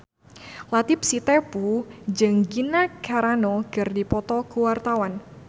Latief Sitepu jeung Gina Carano keur dipoto ku wartawan